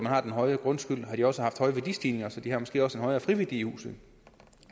har den høje grundskyld har de også haft høje værdistigninger så de har måske også en højere friværdi i huset